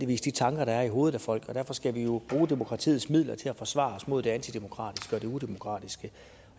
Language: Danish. de tanker der er i hovedet på folk derfor skal vi jo bruge demokratiets midler til at forsvare os mod det antidemokratiske og det udemokratiske